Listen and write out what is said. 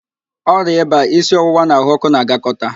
Ọrịa ịba, isi ọwụwa na ahụ ọ́kụ́ na-agakọta